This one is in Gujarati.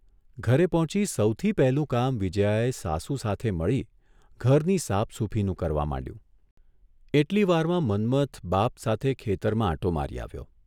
ઘરે પહોંચી સૌથી પહેલું કામ વિજ્યાએ સાસુ સાથે મળી ઘરની સાફસૂફીનું કરવા માંડ્યું, એટલી વારમાં મન્મથ બાપ સાથે ખેતરમાં આંટો મારી આવ્યો.